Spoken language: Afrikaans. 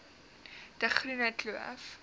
de groene kloof